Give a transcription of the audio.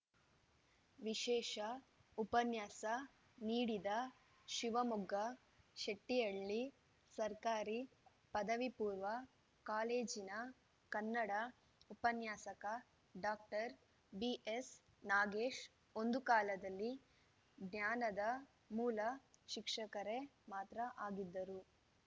ವಿಶೇಷ ಉಪನ್ಯಾಸ ನೀಡಿದ ಶಿವಮೊಗ್ಗ ಶೆಟ್ಟಿಹಳ್ಳಿ ಸರ್ಕಾರಿ ಪದವಿಪೂರ್ವ ಕಾಲೇಜಿನ ಕನ್ನಡ ಉಪನ್ಯಾಸಕ ಡಾಕ್ಟರ್ ಬಿಎಸ್‌ ನಾಗೇಶ್‌ ಒಂದು ಕಾಲದಲ್ಲಿ ಜ್ಞಾನದ ಮೂಲ ಶಿಕ್ಷಕರೇ ಮಾತ್ರ ಆಗಿದ್ದರು